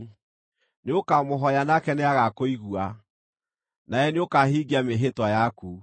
Nĩũkamũhooya, nake nĩagakũigua, nawe nĩũkahingia mĩĩhĩtwa yaku.